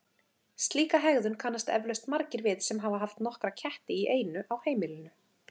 Slíka hegðun kannast eflaust margir við sem hafa haft nokkra ketti í einu á heimilinu.